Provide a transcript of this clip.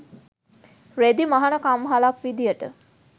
රෙදි මහන කම්හලක් විදියට